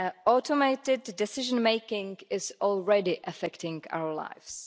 Automated decision-making is already affecting our lives.